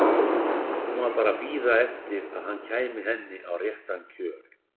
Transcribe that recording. Hún var bara að bíða eftir að hann kæmi henni á réttan kjöl.